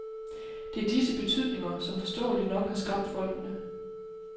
Det er disse betydninger, som forståeligt nok har skræmt folkene.